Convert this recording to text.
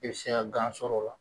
I be se ka gan sɔrɔ o la